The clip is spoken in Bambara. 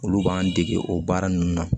Olu b'an dege o baara nunnu na